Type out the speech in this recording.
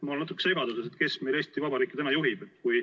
Ma olen natuke segaduses, kes meil Eesti Vabariiki täna juhib.